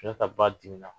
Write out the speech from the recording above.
Sunjata ba dimina